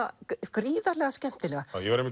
gríðarlega skemmtilega ég var að